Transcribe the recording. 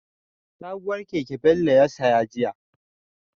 Sabuwar keke Bello ya saya jiya.